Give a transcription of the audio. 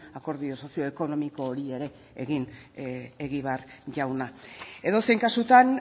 akordio sozioekonomiko hori ere egin egibar jauna edozein kasutan